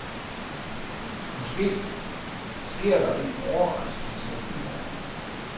Måske sker der en overraskelse i morgen.